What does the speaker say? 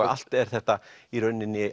allt er þetta í rauninni